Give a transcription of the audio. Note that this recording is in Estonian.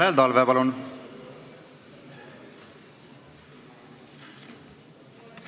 Tanel Talve, palun!